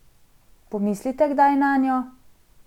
Pomislite kdaj nanjo?